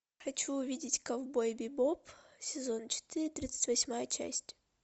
хочу увидеть ковбой бибоп сезон четыре тридцать восьмая часть